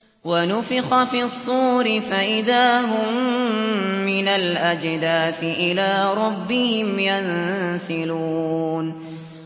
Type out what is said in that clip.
وَنُفِخَ فِي الصُّورِ فَإِذَا هُم مِّنَ الْأَجْدَاثِ إِلَىٰ رَبِّهِمْ يَنسِلُونَ